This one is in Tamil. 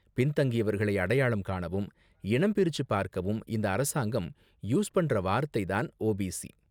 பின்தங்கியவர்களை அடையாளம் காணவும், இனம் பிரிச்சு பார்க்கவும் இந்த அரசாங்கம் யூஸ் பண்ற வார்த்தை தான் ஓபிசி.